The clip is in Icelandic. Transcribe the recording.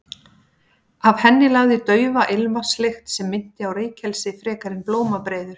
Af henni lagði daufa ilmvatnslykt sem minnti á reykelsi frekar en blómabreiður.